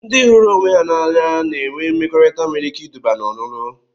Ndị hụrụ onwe ha n'anya na-enwe mmekọrịta nwere ike iduba n'ọlulu